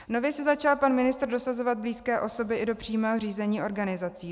Nově si začal pan ministr dosazovat blízké osoby i do přímého řízení organizací.